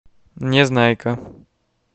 незнайка